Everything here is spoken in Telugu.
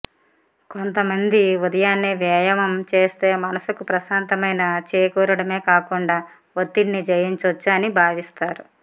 కొంతమంది ఉదయాన్నే వ్యాయామం చేస్తే మనసుకు ప్రశాంతమైన చేకూరడమే కాకుండా ఒత్తిడిని జయించొచ్చు అని భావిస్తారు